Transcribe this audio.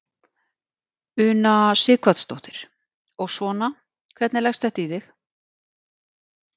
Una Sighvatsdóttir: Og svona, hvernig leggst þetta í þig?